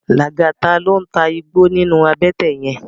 Lagata ló n tá igbó ninú àbètè yèn